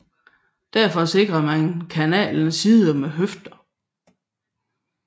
Derfor sikrede man kanalens sider med høfder